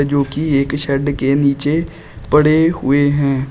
जोकि एक शेड के नीचे पड़े हुए हैं।